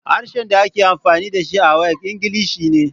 Harshen da ake amfani da shi a WAEC Ingilishi ne.